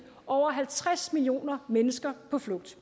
over halvtreds millioner mennesker på flugt